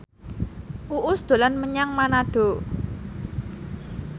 Uus dolan menyang Manado